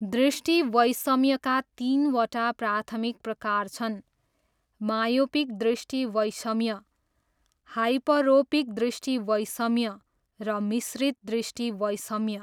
दृष्टिवैषम्यका तिनवटा प्राथमिक प्रकार छन्, मायोपिक दृष्टिवैषम्य, हाइपरोपिक दृष्टिवैषम्य, र मिश्रित दृष्टिवैषम्य।